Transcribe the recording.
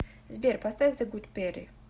сбер поставь зе гуд перри